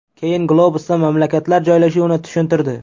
Keyin globusdan mamlakatlar joylashuvini tushuntirdi.